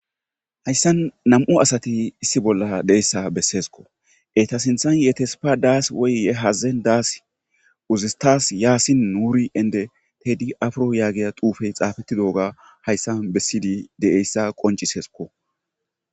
hayssan nam7u asati issi bolla deeyssa besseesko eta sinthan yetespa daas woyye hazazen daas uzistas yaasin nuuri ende tedi afro yaagiya duufey xaafetti dooga hayssa bessidi de7eyssa qoncisesko